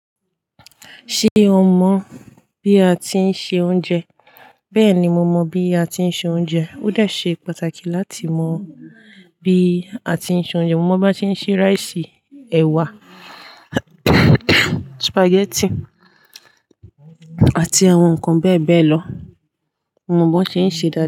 Ṣé o mọ bí a tí ń se oúnjẹ? Bẹ́ẹ̀ni, mo mọ bí a tí ń se oúnjẹ. Ó dà sé pàtàkì láti mọ bí a tí ń se oúnjẹ. Mo mọ̀ bó ti ń se ráìsì, ẹ̀wà, sùpàgẹ́tì àti àwọn ǹkan bẹ́e bẹ́ẹ̀ lọ. Mo mọ bó ṣe ń ṣe dáda.